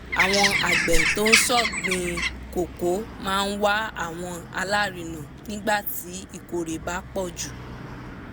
àwọn àgbẹ̀ tó ṣọ̀gbìn koko máa wá àwọn alárinà nígbà tí ìkórè bá pọ̀ jù